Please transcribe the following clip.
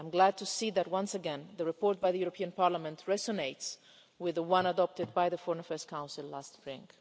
I'm glad to see that, once again, the report by the European Parliament resonates with the one adopted by the Foreign Affairs Council last spring.